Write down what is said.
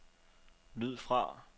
lyd fra